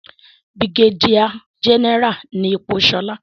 brigadier general ni ipò Shola.